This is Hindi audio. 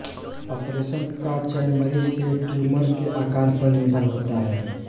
ऑपरेशन का चयन मरीज के ट्युमर के आकार पर निर्भर होता है